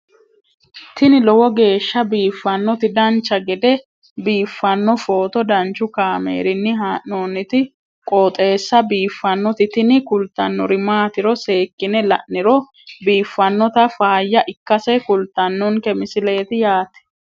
tini lowo geeshsha biiffannoti dancha gede biiffanno footo danchu kaameerinni haa'noonniti qooxeessa biiffannoti tini kultannori maatiro seekkine la'niro biiffannota faayya ikkase kultannoke misileeti yaate